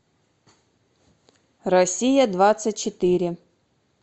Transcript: россия двадцать четыре